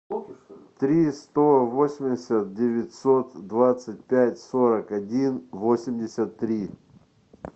три сто восемьдесят девятьсот двадцать пять сорок один восемьдесят три